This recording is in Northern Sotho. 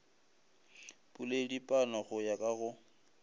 poledipano go ya ka go